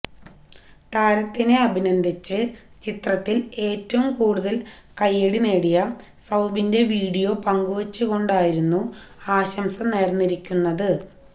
താരത്തിനെ അഭിനന്ദിച്ച് ചിത്രത്തിൽ ഏറ്റവും കൂടുതൽ കയ്യടി നേടിയ സൌബിന്റെ വീഡിയോ പങ്കുവെച്ചു കൊണ്ടായിരുന്നു ആശംസ നേർന്നിരിക്കുന്നത്